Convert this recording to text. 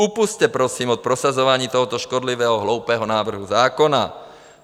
Upusťte prosím od prosazování tohoto škodlivého, hloupého návrhu zákona.